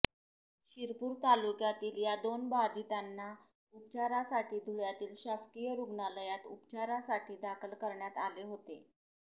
शिरपूर तालुक्यातील या दोन बाधितांना उपचारासाठी धुळ्यातील शासकीय रुग्णालयात उपचारासाठी दाखल करण्यात आले होते